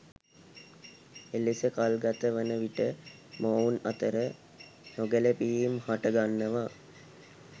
එලෙස කල් ගත වන විට මොවුන් අතර නොගැලපීම් හට ගන්නවා